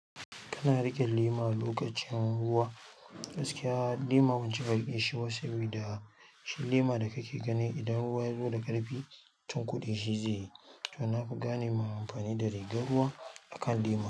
Kana riƙe lema lokacin ruwa, gaskiya lema ban cika rike shi ba sabida shi lema da ka ke gani idan ruwa ya zo da ƙarfi tunkuɗi shi zai yi. To na fi gane ma amfani da rigar ruwa a kan lema.